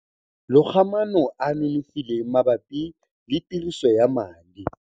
Loga maano a a nonofileng mabapi le tiriso ya madi.